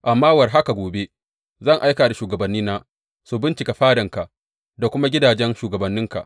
Amma war haka gobe zan aika shugabannina su bincika fadanka da kuma gidajen shugabanninka.